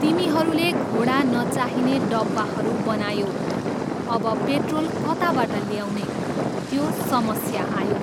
तिमीहरूले घोडा नचाहिने डब्बाहरू बनायौ, अब पेट्रोल कताबाट ल्याउने, त्यो समस्या आयो।